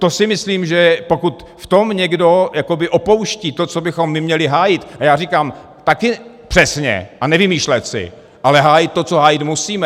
To si myslím, že pokud v tom někdo opouští to, co bychom my měli hájit - a já říkám taky přesně a nevymýšlet si - ale hájit to, co hájit musíme.